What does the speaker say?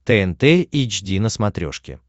тнт эйч ди на смотрешке